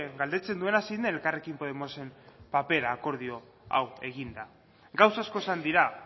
galdetzen duena zein den elkarrekin podemosen papera akordio hau eginda gauza asko esan dira